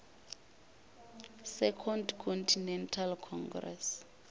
second continental congress